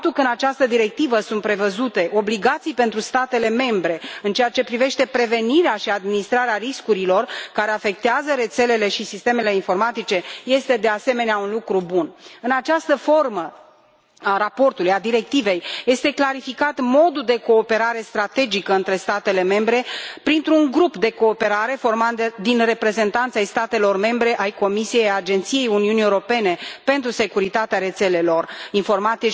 Faptul că în această directivă sunt prevăzute obligații pentru statele membre în ceea ce privește prevenirea și administrarea riscurilor care afectează rețelele și sistemele informatice este, de asemenea, un lucru bun. În această formă a raportului, a directivei este clarificat modul de cooperare strategică între statele membre printr un grup de cooperare format din reprezentanți ai statelor membre, ai Comisiei și ai Agenției Uniunii Europene pentru Securitatea Rețelelor și a